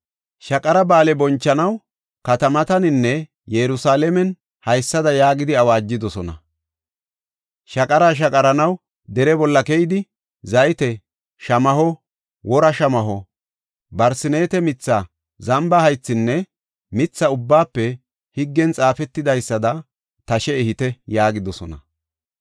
Shaqara Ba7aale bonchanaw katamataninne Yerusalaamen haysada yaagidi awaajidosona; “Shaqara shaqaranaw dere bolla keyidi zayte shamaho, wora shamaho, barseneete mitha, zamba haythinne mitha ubbaafe higgen xaafetidaysada tashe ehite” yaagidosona.